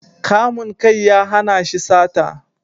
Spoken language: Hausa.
Kamun kai ya hana shi sata